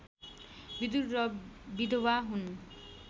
विदुर र विधवा हुन्